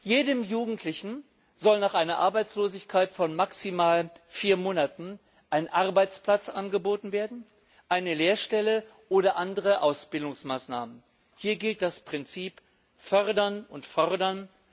Jedem Jugendlichen sollen nach einer Arbeitslosigkeit von maximal vier Monaten ein Arbeitsplatz, eine Lehrstelle oder andere Ausbildungsmaßnahmen angeboten werden. Hier gilt das Prinzip Fördern und Fordern.